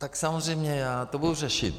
Tak samozřejmě, já to budu řešit.